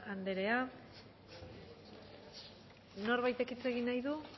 anderea norbaitek hitz egin nahi du